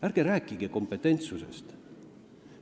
Ärge rääkige kompetentsusest!